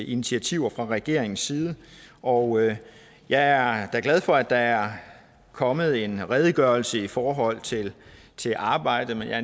initiativer fra regeringens side og jeg er da glad for at der er kommet en redegørelse i forhold til til arbejdet men jeg